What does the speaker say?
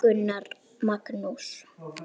Gunnar Magnús.